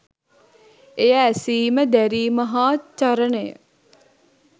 එය ඇසීම දැරීම හා චරණය